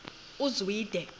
uzwide